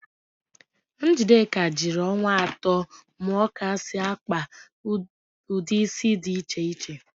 Njideka jiri ọnwa atọ mụọ ka esi akpa ụdị ísí dị iche iche.